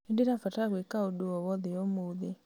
nĩ ndĩrabatara gwĩka ũndũ o wothe ũmũthĩ